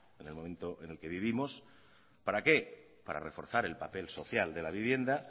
en el momento en el que vivimos para qué para reforzar el papel social de la vivienda